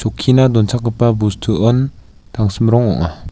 chokkina donchakgipa bostuon tangsim rong ong·a.